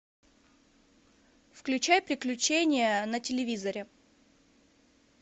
включай приключения на телевизоре